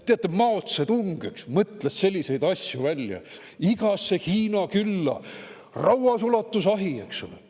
Teate, Mao Zedong mõtles selliseid asju välja: igasse Hiina külla rauasulatusahi, eks ole.